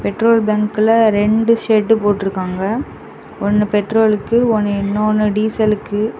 Petrol பங்குல இரண்டு shed போட்ருக்காங்க ஒன்னு பெட்ரோலுக்கு ஒன்னு இன்னொன்னு டீசலுக்கு .